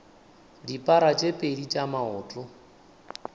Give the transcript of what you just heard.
dipara tse pedi tša maoto